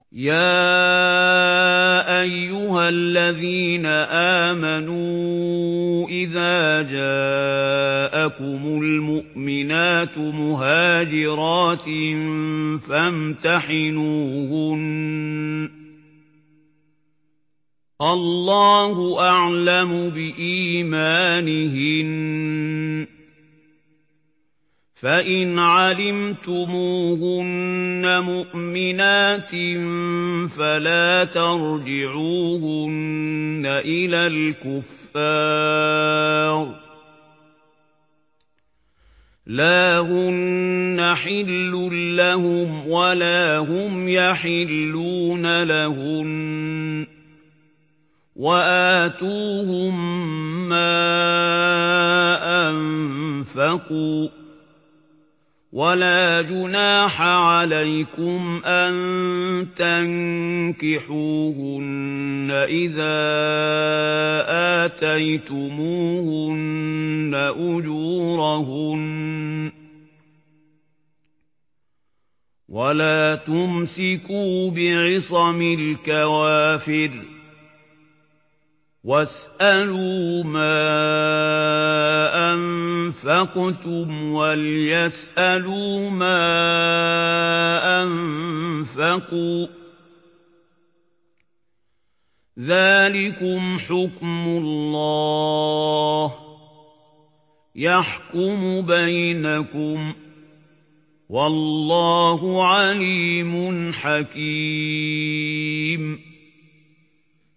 يَا أَيُّهَا الَّذِينَ آمَنُوا إِذَا جَاءَكُمُ الْمُؤْمِنَاتُ مُهَاجِرَاتٍ فَامْتَحِنُوهُنَّ ۖ اللَّهُ أَعْلَمُ بِإِيمَانِهِنَّ ۖ فَإِنْ عَلِمْتُمُوهُنَّ مُؤْمِنَاتٍ فَلَا تَرْجِعُوهُنَّ إِلَى الْكُفَّارِ ۖ لَا هُنَّ حِلٌّ لَّهُمْ وَلَا هُمْ يَحِلُّونَ لَهُنَّ ۖ وَآتُوهُم مَّا أَنفَقُوا ۚ وَلَا جُنَاحَ عَلَيْكُمْ أَن تَنكِحُوهُنَّ إِذَا آتَيْتُمُوهُنَّ أُجُورَهُنَّ ۚ وَلَا تُمْسِكُوا بِعِصَمِ الْكَوَافِرِ وَاسْأَلُوا مَا أَنفَقْتُمْ وَلْيَسْأَلُوا مَا أَنفَقُوا ۚ ذَٰلِكُمْ حُكْمُ اللَّهِ ۖ يَحْكُمُ بَيْنَكُمْ ۚ وَاللَّهُ عَلِيمٌ حَكِيمٌ